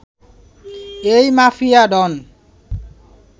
এই মাফিয়া ডন